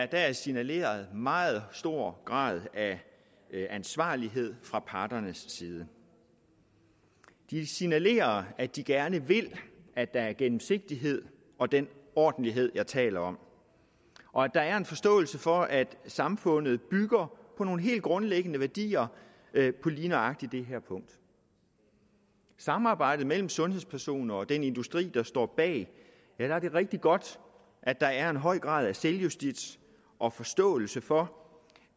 der er signaleret en meget stor grad af ansvarlighed fra parternes side de signalerer at de gerne vil at der er gennemsigtighed og den ordentlighed jeg taler om og at der er en forståelse for at samfundet bygger på nogle helt grundlæggende værdier på lige nøjagtig det her punkt i samarbejdet mellem sundhedspersoner og den industri der står bag er det rigtig godt at der er en høj grad af selvjustits og forståelse for